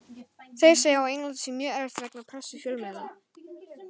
Þeir segja á Englandi sé mjög erfitt vegna pressu fjölmiðla.